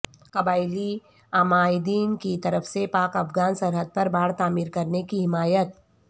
قبائلی عمائدین کی طرف سے پاک افغان سرحد پر باڑ تعمیر کرنے کی حمایت